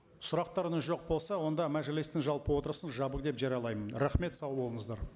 сұрақтарыңыз жоқ болса онда мәжілістің жалпы отырысын жабық деп жариялаймын рахмет сау болыңыздар